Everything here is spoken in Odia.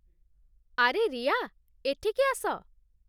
ଆରେ ରିୟା, ଏଠିକି ଆସ ।